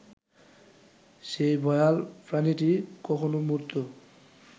সেই ভয়াল প্রাণীটি কখনো মূর্ত